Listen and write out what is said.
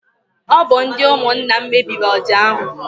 Ọ bụ ndị ụmụnna m mebiri ọja ahụ.